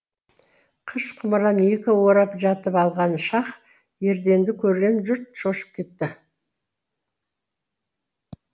қыш құмыраны екі орап жатып алған шах ерденді көрген жұрт шошып кетті